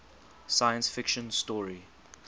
science fiction story